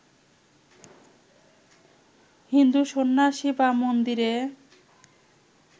হিন্দু সন্ন্যাসী বা মন্দিরে